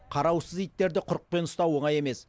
қараусыз иттерді құрықпен ұстау оңай емес